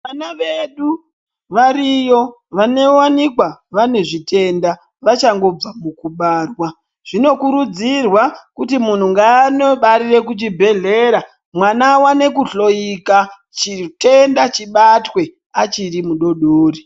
Vana vedu variyo vanowanikwa vaine zvitenda vachangobva mukubarwa zvinokurudzirwa kuti munhu ngaanobarira kuchibhedhlera mwana awone kuhloyika chitenda chibatwe achirimudodori .